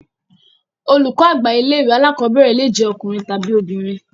Olùkọ́ àgbà ilé ìwé alákọ̀berẹ̀ le jẹ ọkùnrin tàbi obìnrin.